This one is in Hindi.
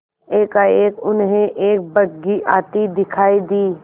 एकाएक उन्हें एक बग्घी आती दिखायी दी